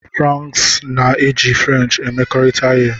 France na-eji French emekọrịta ihe.